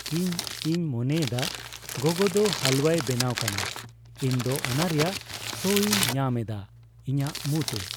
ᱤᱧ ᱤᱧ ᱢᱚᱱᱮ ᱮᱫᱟ ᱜᱚᱜᱚ ᱫᱚ ᱦᱟᱞᱩᱣᱟᱭ ᱵᱮᱱᱟᱣ ᱠᱟᱱᱟ ᱾ᱤᱧ ᱫᱚ ᱚᱱᱟ ᱨᱮᱭᱟᱜ ᱥᱚᱧ ᱧᱟᱢ ᱮᱫᱟ ᱤᱧᱟᱜ ᱢᱩ ᱛᱮ ᱾